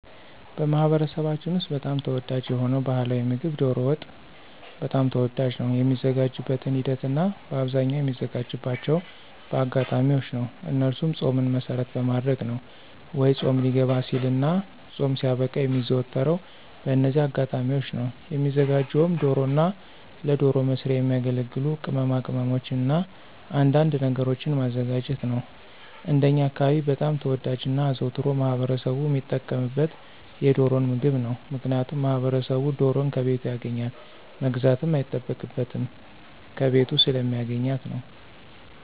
በማኅበረሰባችን ውስጥ በጣም ተወዳጅ የሆነው ባሕላዊ ምግብ ዶሮ ወጥ በጣም ተወዳጅ ነው። የሚዘጋጅበትን ሂደት እናበአብዛኛው የሚዘጋጅባቸው በአጋጣሚዎች ነው እነሱም ፆምን መሰረት በማድረግ ነው ወይ ፆም ሊገባ ሲልና ፆም ሲያበቃ የሚዘወተረው በእነዚህ አጋጣሚዎች ነው። የሚዘጋጀውም ዶሮና ለዶሮ መስሪያ የሚያገለግሉ ቅማቅመሞችንና አንዳንድ ነገሮችን ማዘጋጀት ነው። እንደኛ አካባቢ በጣም ተወዳጅና አዘውትሮ ማህበረሰቡ ሚጠቀምበት የዶሮን ምግብ ነው። ምክንያቱም ማህበረሰቡ ዶሮን ከቤቱ ያገኛል መግዛትም አይጠበቅበትም ከቤቱ ስለሚያገኛት ነው።